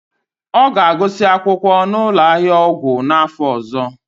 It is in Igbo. Ọ ga-agụsị akwụkwọ na ụlọ ahịa ọgwụ n'afọ ọzọ.